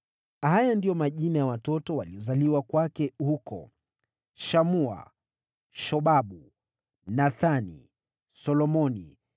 Haya ndiyo majina ya watoto waliozaliwa kwake huko: Shamua, Shobabu, Nathani, Solomoni,